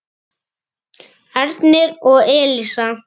Börn þeirra: Ernir og Elísa.